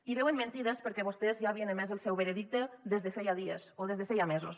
hi veuen mentides perquè vostès ja havien emès el seu veredicte des de feia dies o des de feia mesos